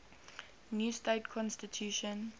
new state constitution